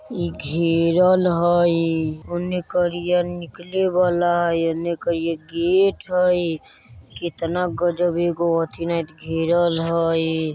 ई घेरल हई उने करिया निकले बला हई इने करिया गेट हई कितना गजब एगो अथी नहित घेरल हई।